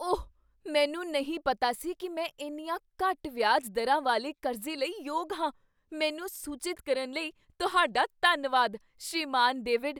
ਓਹ! ਮੈਨੂੰ ਨਹੀਂ ਪਤਾ ਸੀ ਕੀ ਮੈਂ ਇੰਨੀਆਂ ਘੱਟ ਵਿਆਜ ਦਰਾਂ ਵਾਲੇ ਕਰਜ਼ੇ ਲਈ ਯੋਗ ਹਾਂ। ਮੈਨੂੰ ਸੂਚਿਤ ਕਰਨ ਲਈ ਤੁਹਾਡਾ ਧੰਨਵਾਦ, ਸ੍ਰੀਮਾਨ ਡੇਵਿਡ।